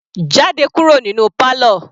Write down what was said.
Jáde kúrò nínú parlour.